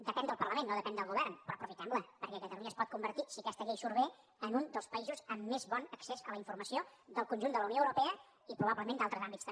depèn del parlament no depèn del govern però aprofitemla perquè catalunya es pot convertir si aquesta llei surt bé en un dels països amb més bon accés a la informació del conjunt de la unió europea i probablement d’altres àmbits també